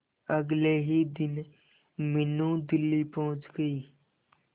अगले ही दिन मीनू दिल्ली पहुंच गए